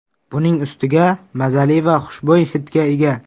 Buning ustiga mazali va xushbo‘y hidga ega.